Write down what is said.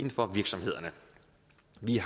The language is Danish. i